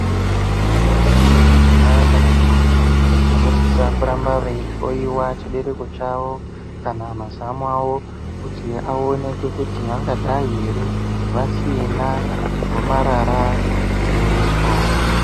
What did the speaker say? Vantu vechidzimai kana ntombi vanosisa kuramba veihloiwa chibereko chavo kana mazamo avo kuti aonekwe kuti vangadai ere vasina gomarara rechibereko.